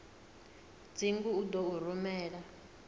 dzingu u ḓo u rumela